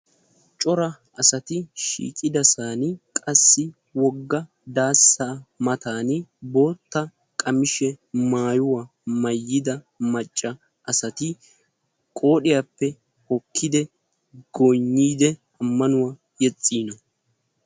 Cora asati shiiqidosan qassi daassa daasa matan boota maayuwa maayida asati eqidi amanuwa yexiina.